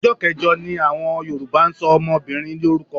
Ọjọ́ kẹjọ ni àwọn Yorùbá ń ṣọmọbìnrin lórúkọ.